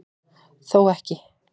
Þó ekki